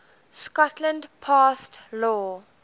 scotland passed law